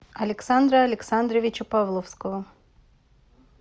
александра александровича павловского